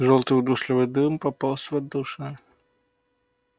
жёлтый удушливый дым пополз в отдушины